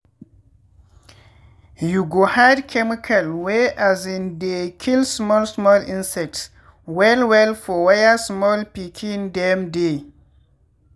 you go hide chemical wey um dey kill small small insects well well for where small pikin dem dey.